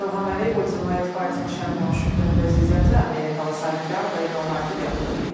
Prezident İlham Əliyev Ultimate Fighting Championshipin prezidenti, amerikalı sahibkar Dana White-ı qəbul edib.